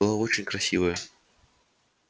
была очень красивая